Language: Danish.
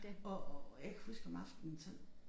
Og jeg kan huske om aftenen så